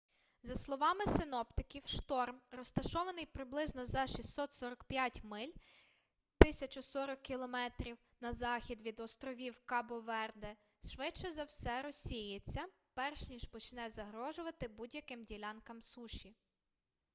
за словами синоптиків шторм розташований приблизно за 645 миль 1040 км на захід від островів кабо-верде швидше за все розсіється перш ніж почне загрожувати будь-яким ділянкам суші